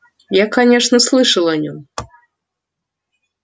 я конечно слышал о нём